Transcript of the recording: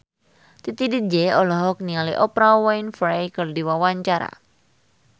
Titi DJ olohok ningali Oprah Winfrey keur diwawancara